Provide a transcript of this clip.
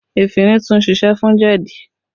Efinrin tún siṣẹ́ fún jẹ̀dí